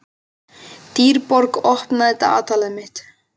Dýrborg, opnaðu dagatalið mitt.